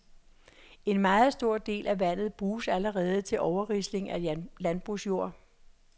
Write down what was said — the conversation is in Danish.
En meget stor del af vandet bruges allerede til overrisling af landbrugsjord.